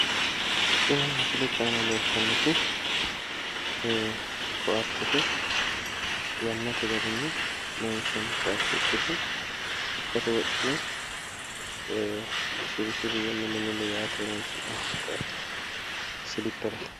Tini mislete aana leeltannoti koaatete yannate garinni loonsoonni koaate ikkite lekkate wodhine shirri shirri woy milli milli yaate horonsi'nanni koaateti siliperete.